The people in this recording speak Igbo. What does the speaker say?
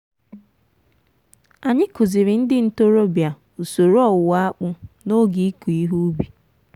anyị kụziiri ndị ntorobịa usoro owuwe akpu n'oge ịkụ ihe ubi.